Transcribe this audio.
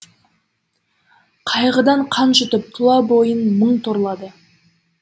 қайғыдан қан жұтып тұла бойын мұң торлады